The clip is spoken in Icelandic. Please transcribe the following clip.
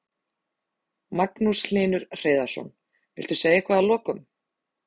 Magnús Hlynur Hreiðarsson: Viltu segja eitthvað að lokum?